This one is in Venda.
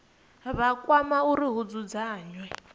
vha kwama uri hu dzudzanywe